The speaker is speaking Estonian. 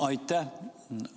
Aitäh!